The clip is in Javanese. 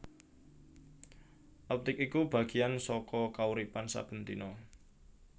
Optik iku bagéyan saka kauripan saben dina